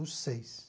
Os seis.